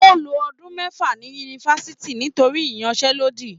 O ló ọdún mẹfa ní yunifásítì nítorí iyansẹ̀lodi.